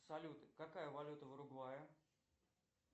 салют какая валюта в уругвае